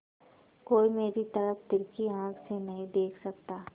कोई मेरी तरफ तिरछी आँख से नहीं देख सकता